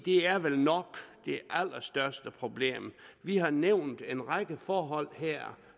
er vel nok det allerstørste problem vi har nævnt en række forhold her